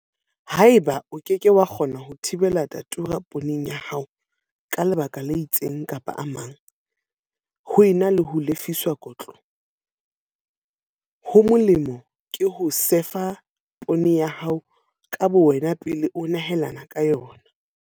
Haeba o ke ke wa kgona ho thibela Datura pooneng ya hao ka lebaka le itseng kapa a mang, ho ena le ho lefiswa kotlo, ho molemo ke ho sefa poone ya hao ka bowena pele o nehelana ka yona.